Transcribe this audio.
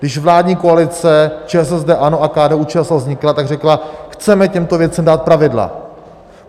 Když vládní koalice ČSSD, ANO a KDU-ČSL vznikla, tak řekla: chceme těmto věcem dát pravidla.